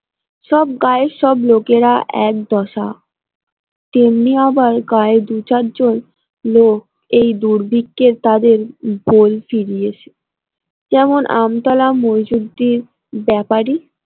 সব গায়ের সব লোকেরা এক দশা তেমনি আবার গায়ে জন লোক এই দুর্ভিক্ষে তাদের ফুরিয়েছে যেমন আমতলা মইজুদ্দিন ব্যাপারী।